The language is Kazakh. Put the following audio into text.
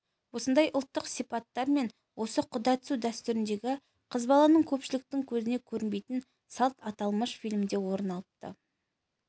осындай ұлттық сипаттар мен осы құда түсу дәстүріндегі қыз баланың көпшіліктің көзіне көрінбейтін салт аталмыш фильмде орын алыпты